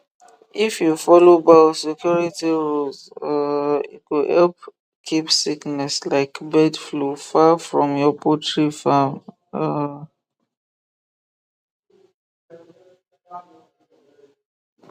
if you follow biosecurity rules um e go help keep sickness like bird flu far from your poultry farm um